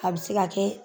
A bɛ se ka kɛ